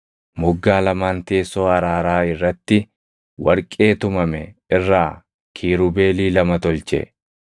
Moggaa lamaan teessoo araaraa irratti warqee tumame irraa Kiirubeelii lama tolche.